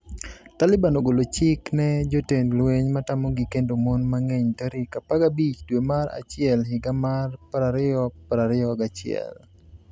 Taliban ogolo chik ne jotend lweny matamogi kendo mon mang'eny tarik 15 dwe mar achiel higa mar 2021